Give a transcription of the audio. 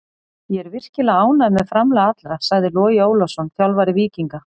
Ég er virkilega ánægður með framlag allra, sagði Logi Ólafsson, þjálfari Víkinga.